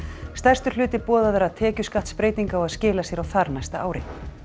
stærstur hluti boðaðra tekjuskattsbreytinga á að skila sér á þarnæsta ári